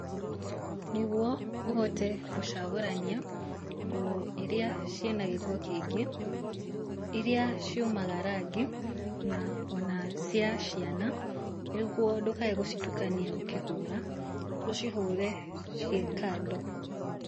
Nĩguo ũhote gũcagũrania nguo iria ciĩna gĩko kĩingĩ, iria ciumaga rangi na cia ciana, nĩguo ndũkae gũcitukania ũkĩhũra, ũcihũre ciĩkando.